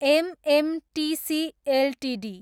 MMTC Ltd